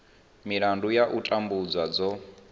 milandu ya u tambudzwa dzo